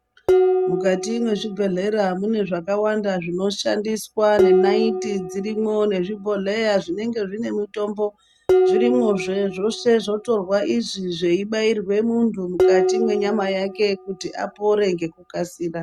Mukati mwezvibhehlera mune zvakawanda zvinoshandiswa, nenaiti dzirimwo nezvibhohlera zvinenge zvine mutombo zvirimwozve. Zvese zvotorwa izvi zveibairwe muntu mukati mwenyama yake kuti apore ngekukasira.